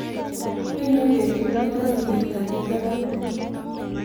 Ainon betut ne po sigetap kiptabut